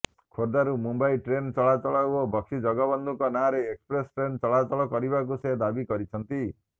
ଖୋର୍ଦ୍ଧାରୁ ମୁମ୍ବାଇ ଟ୍ରେନ୍ ଚଳାଚଳ ଓ ବକ୍ସି ଜଗବନ୍ଧୁଙ୍କ ନାଁରେ ଏକ୍ସପ୍ରେସ ଟ୍ରେନ୍ ଚଳାଚଳ କରିବାକୁ ସେ ଦାବି କରିଛନ୍ତି